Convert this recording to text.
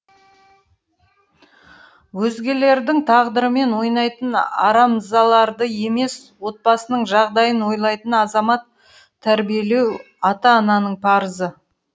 өзгелердің тағдырымен ойнайтын арамзаларды емес отбасының жағдайын ойлайтын азамат тәрбиелеу ата ананың парызы